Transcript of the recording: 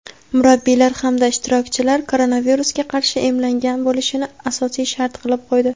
murabbiylar hamda ishtirokchilar koronavirusga qarshi emlangan bo‘lishini asosiy shart qilib qo‘ydi.